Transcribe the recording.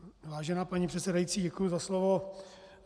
Vážená paní předsedající, děkuji za slovo.